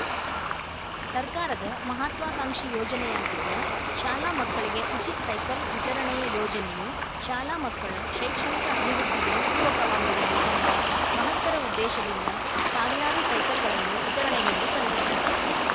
ಸರ್ಕಾರದ ಮಹತ್ವಾಕಾಂಕ್ಷಿ ಯೋಜನೆಯಾಗಿದ್ದ ಶಾಲಾ ಮಕ್ಕಳಿಗೆ ಉಚಿತ್ ಸೈಕಲ್‌ ವಿತರಣೆಯ ಯೋಜನೆಯು ಶಾಲಾ ಮಕ್ಕಳ ಶೈಕ್ಷಣಿಕ ಅಭಿವೃದ್ಧಿಗೆ ಪೂರಕವಾಗಿರಲಿ ಎಂಬ ಮಹತ್ತರ ಉದ್ದೇಶದಿಂದ ಸಾವಿರಾರು ಸೈಕಲ್‌ಗಳನ್ನು ವಿತರಣೆಗೆಂದು ತಂದಿದ್ದಾರೆ